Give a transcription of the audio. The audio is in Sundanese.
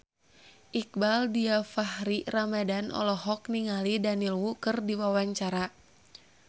Iqbaal Dhiafakhri Ramadhan olohok ningali Daniel Wu keur diwawancara